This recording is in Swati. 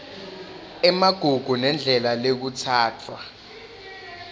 emagugu nendlela lekutsatfwa